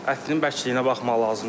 Ətinin bəkliyinə baxmaq lazımdır.